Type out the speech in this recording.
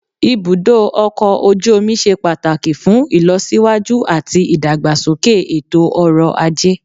Ibùdó ọkọ̀ ojú omi ṣe pàtàkì fún ìlọsíwájú àti ìdàgbàsókè ètò ọrọ̀ ajé